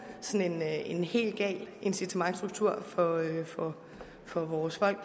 sådan en helt gal incitamentsstruktur for for vores folk